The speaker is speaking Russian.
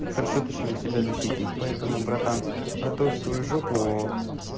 хорошо точнее себя защитить поэтому братан готовь свою жопу